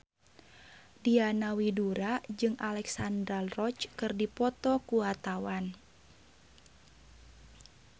Diana Widoera jeung Alexandra Roach keur dipoto ku wartawan